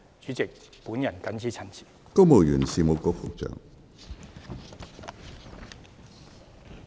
主席，本人謹此陳辭，多謝主席。